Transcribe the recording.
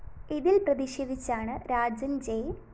ഇതില്‍ പ്രതിഷേധിച്ചാണ് രാജന്‍ ജെ